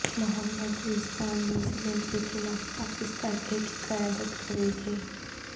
محمد Rizwan New Zealand کیخلاف Pakistan A کی قیادت کرینگے